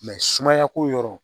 sumaya ko yɔrɔ